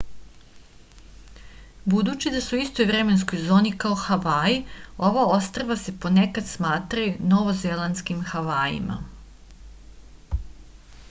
budući da su u istoj vremenskoj zoni kao havaji ova ostrva se ponekad smatraju novozelandskim havajima